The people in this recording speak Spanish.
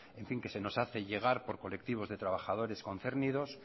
que se nos hace llegar por colectivos de trabajadores concernidos